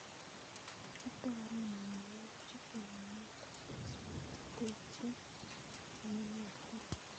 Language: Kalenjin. Kitoren mionwokichuton minetab keswek cheterterchin cheyonotin.